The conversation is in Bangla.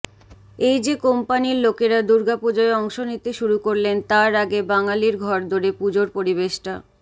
এই যে কোম্পানির লোকেরা দুর্গাপুজোয় অংশ নিতে শুরু করলেন তার আগে বাঙালির ঘরদোরে পুজোর পরিবেশটা